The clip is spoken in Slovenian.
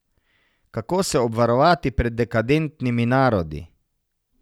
Kako se obvarovati pred dekadentnimi narodi?